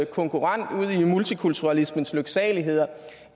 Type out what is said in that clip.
konkurrent ud i multikulturalismens lyksaligheder